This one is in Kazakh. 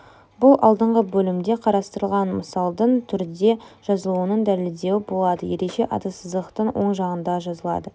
бұл алдыңғы бөлімде қарастырылған мысалдың түрде жазылуының дәлелдеуі болады ереже аты сызықтың оң жағында жазылады